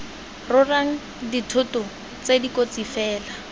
rorang dithoto tse dikotsi fela